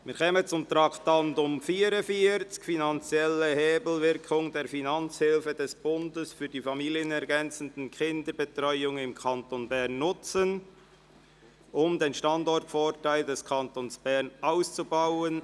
Wir kommen zum Traktandum 44, «Finanzielle Hebelwirkung der Finanzhilfen des Bundes für die familienergänzende Kinderbetreuung in Kanton Bern nutzen, um den Standortvorteil des Kantons Bern auszubauen».